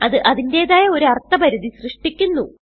അത് അതിന്റേതായ ഒരു അർത്ഥ പരിധി സൃഷ്ടിക്കുന്നു